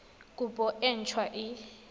kopo e nt hwa e